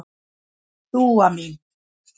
Dúa mín.